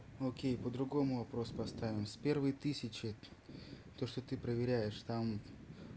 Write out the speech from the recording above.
окей по-другому вопрос поставим с первой тысячи то что ты проверяешь там